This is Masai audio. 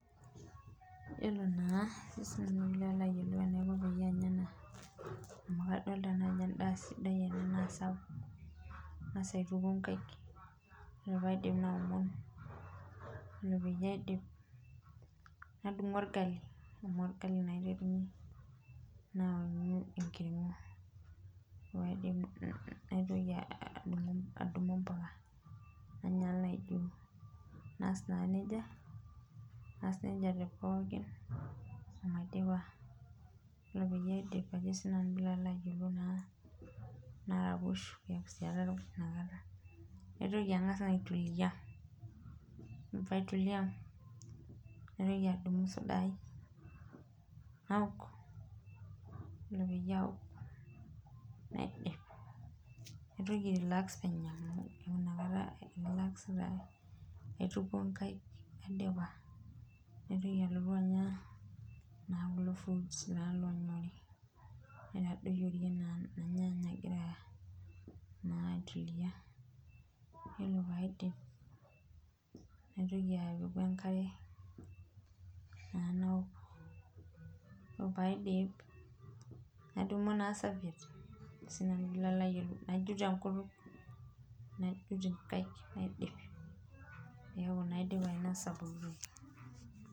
Yiolo naa enaiko peyie anya ena amu adolita naa ajo endaa sidai ena naa sapuk ,kangas aituku nkaek ore pee aidip naomon ore peyie aidip nadumu orgali amu orgali naa aiterunyie, naonyu enkirgo ore pee aidip nadumu impuka ,nainyala naijo naas naa nejia tepoookin omaidipa .ore ake pee aidip naraposho amu keeku ataraposhe inakata ,nangas naa aituliyia ,yiiolo pee aitulia naitoki adumu suda ai naok ore peyie aok naitoki aituliya penyo, naituku nkaek naitoki nalotu anya kulo fruits naa loonyori naitadoyiorie naa irnyanya agira naa aituliya ,yiolo pee aidip naitoki naa apiku enkare naok ,yiolo pee aidip nadumu naa safiet najut enkutuk najut inkaek naidip neeku naa aidip ainosa pooki toki.